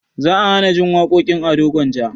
Za a hanajin waƙoƙin ado gwanja